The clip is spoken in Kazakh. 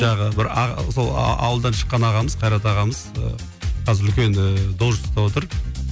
жаңағы бір сол ауылдан шыққан ағамыз қайрат ағамыз ы қазір үлкен ы должностьтта отыр